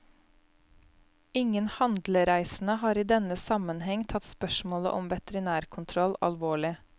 Ingen handlereisende har i denne sammenheng tatt spørsmålet om veterinærkontroll alvorlig.